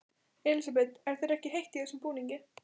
Elísabet: Er þér ekkert heitt í þessum búningi?